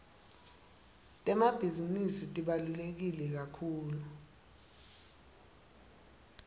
temabhizinisi tibalulekekakhulu